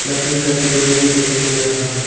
लकड़ी का टुकड़ा भी दिखाई दे रहा है।